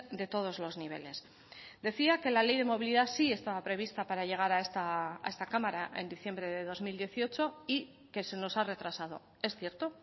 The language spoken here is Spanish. de todos los niveles decía que la ley de movilidad sí estaba prevista para llegar a esta cámara en diciembre de dos mil dieciocho y que se nos ha retrasado es cierto